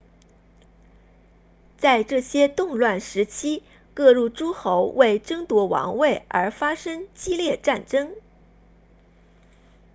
在这些动乱时期各路诸侯为争夺王位而发生激烈战争